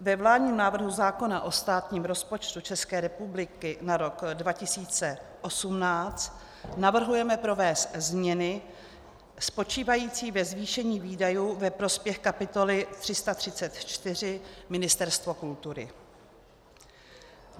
Ve vládním návrhu zákona o státním rozpočtu České republiky na rok 2018 navrhujeme provést změny spočívající ve zvýšení výdajů ve prospěch kapitoly 334 Ministerstvo kultury.